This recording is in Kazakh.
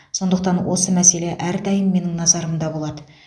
сондықтан осы мәселе әрдайым менің назарымда болады